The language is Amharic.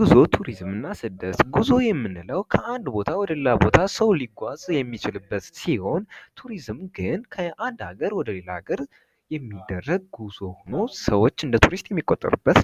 ጉዞ ቱሪዝምና ስደትጉዞ የምንለው ከአንድ ቦታ ወደሌላ ቦታ ሰው ሊጓዝ የሚችልበት ሲሆን ቱሪዝም ከአንድ አገር ወደሌላ አገር የሚደረግ ጉዞ ሁኖ ሰዎች እንደቱሪስት የሚቆጠሩበት